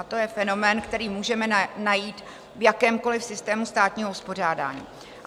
A to je fenomén, který můžeme najít v jakémkoli systému státního uspořádání.